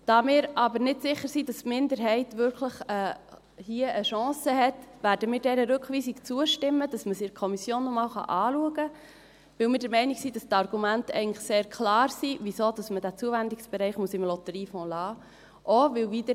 Da wir aber nicht sicher sind, dass die Minderheit hier wirklich eine Chance hat, werden wir dieser Rückweisung zustimmen, damit wir es in der Kommission noch einmal anschauen können, weil wir der Meinung sind, dass die Argumente, warum man diesen Zuwendungsbereich eigentlich im Lotteriefonds lassen muss, sehr klar sind.